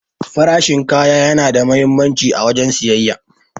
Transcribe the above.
Farashin kaya yana da muhimmanci a wajen siyayya.